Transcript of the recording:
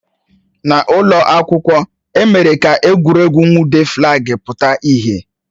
N'ụlọ akwụkwọ, e mere ka egwuregwu nwude flaagi pụta ìhè